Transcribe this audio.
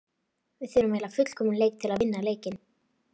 Við þurfum að eiga fullkominn leik til þess að vinna leikinn.